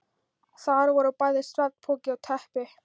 Þar voru bæði svefnpoki og teppi.